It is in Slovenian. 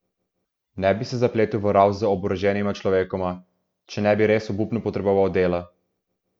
Ne bi se zapletel v ravs z oboroženima človekoma, če ne bi res obupno potreboval dela.